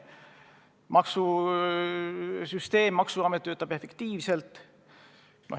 Meie maksusüsteem, maksuamet töötab efektiivselt.